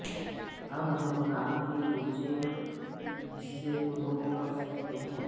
اب ہم ران کے نچلے حصہ کو نوٹ کر سکتے ہیں